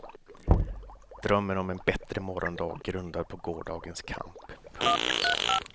Drömmen om en bättre morgondag grundad på gårdagens kamp. punkt